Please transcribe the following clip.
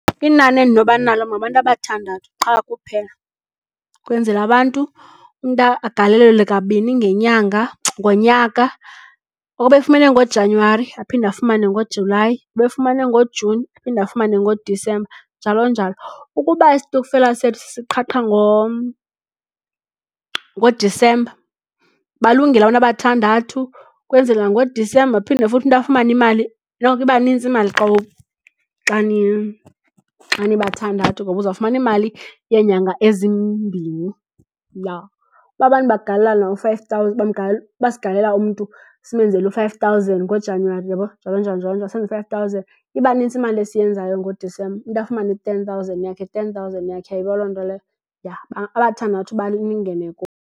Inani endinoba nalo ngabantu abathandathu qha kuphela ukwenzela abantu umntu agalelelwe kabini ngonyaka. Obefumene ngoJanuwari aphinde afumane ngoJulayi, obefumane ngoJuni aphinde afumane ngoDisemba njalo njalo. Ukuba istokfela sethu siqhaqha ngoDisemba, balungile abantu abathandathu kwenzela ngoDisemba phinde futhi umntu afumane imali noko iba nintsi imali xa nibathandathu ngoba uzawufumana iimali yeenyanga ezimbini, ya. Uba abantu bagalelelana u-five thousand ukuba sigalelela umntu simenzele u-five thousand ngoJanuwari uyabona njalo njalo, njalo njalo, senze i-five thousand iba nintsi imali esiyenzayo ngoDisemba, umntu afumane i-ten thousand yakhe, ten thousand yakhe. Uyayibona loo nto leyo? Ya, abathandathu balilingene .